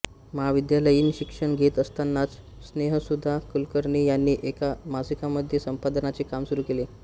महाविद्यालयीन शिक्षण घेत असतानाच स्नेहसुधा कुलकर्णी यांनी एका मासिकामध्ये संपादनाचे काम सुरू केले